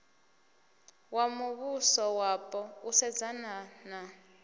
wa muvhusowapo u sedzana na